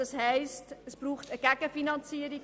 Das heisst, es braucht eine Gegenfinanzierung.